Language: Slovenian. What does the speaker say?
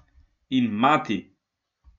In mati!